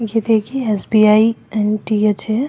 ये देखिए एस.बी.आई.एन.टी.एच. हैं।